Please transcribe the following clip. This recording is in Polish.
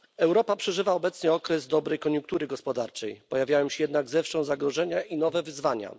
Europa przeżywa obecnie okres dobrej koniunktury gospodarczej, pojawiają się jednak zewsząd zagrożenia i nowe wyzwania.